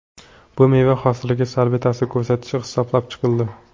Bu meva hosiliga salbiy ta’sir ko‘rsatishi hisoblab chiqildi.